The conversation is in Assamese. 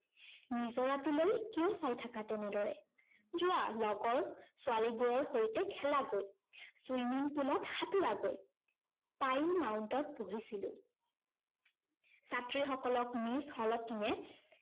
নিজৰাটোলৈ কিয় চাই থাকা তেনেদৰে? যোৱা লগৰ ছোৱালীবোৰৰ সৈতে খেলাগৈ, swimming pool ত সাঁতোৰাগৈ পাইন মাউন্টত পঢ়িছিলো। ছাত্ৰীসকলক মিচ হলটিনে